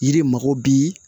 Yiri mago bi